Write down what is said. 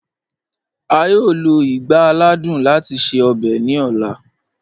A yọọ lọ igbá àlàdùn láti ṣẹ ọ̀bẹ̀ ni ọla.